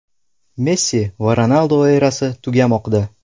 Messi va Ronaldu erasi tugamoqda.